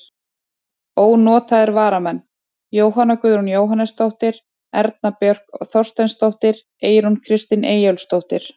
Ónotaðir varamenn: Jóhanna Guðrún Jóhannesdóttir, Erna Björk Þorsteinsdóttir, Eyrún Kristín Eyjólfsdóttir.